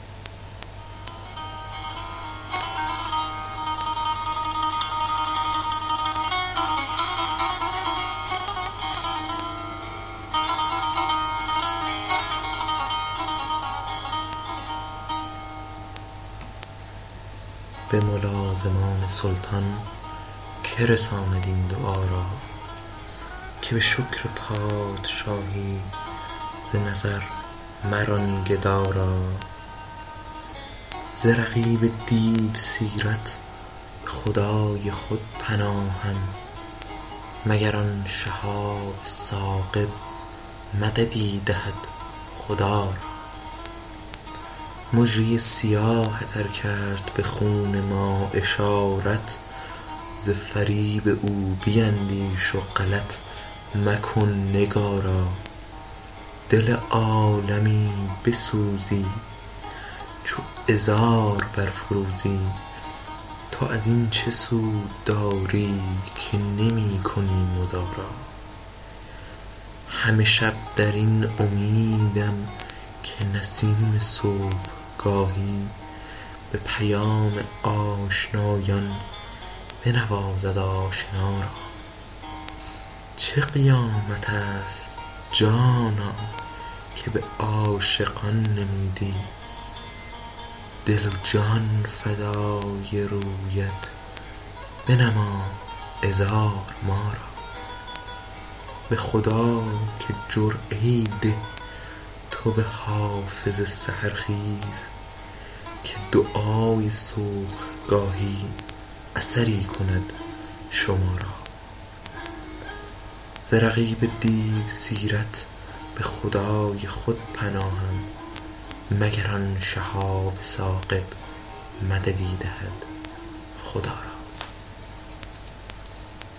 به ملازمان سلطان که رساند این دعا را که به شکر پادشاهی ز نظر مران گدا را ز رقیب دیوسیرت به خدای خود پناهم مگر آن شهاب ثاقب مددی دهد خدا را مژه ی سیاهت ار کرد به خون ما اشارت ز فریب او بیندیش و غلط مکن نگارا دل عالمی بسوزی چو عذار برفروزی تو از این چه سود داری که نمی کنی مدارا همه شب در این امیدم که نسیم صبحگاهی به پیام آشنایان بنوازد آشنا را چه قیامت است جانا که به عاشقان نمودی دل و جان فدای رویت بنما عذار ما را به خدا که جرعه ای ده تو به حافظ سحرخیز که دعای صبحگاهی اثری کند شما را